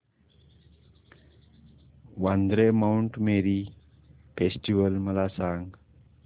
Vandre Mount Mary festival मला सांग